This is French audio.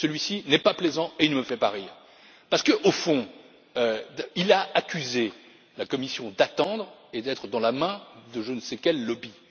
Celui ci n'est pas plaisant et il ne me fait pas rire parce qu'au fond, il a accusé la Commission d'attendre et d'être dans la main de je ne sais quel lobby.